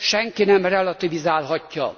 senki nem relativizálhatja.